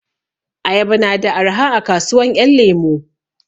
Ayaba na da arha a kasuwan 'yan lemu.